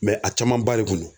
a caman ba de kun don.